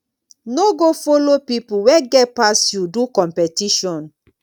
no go follow pipo wey get pass you do competition